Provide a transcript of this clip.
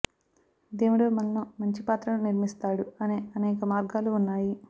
దేవుడు మనలో మంచి పాత్రను నిర్మిస్తాడు అనే అనేక మార్గాలు ఉన్నాయి